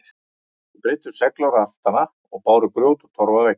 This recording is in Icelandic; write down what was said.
Þeir breiddu segl á raftana og báru grjót og torf að veggjum.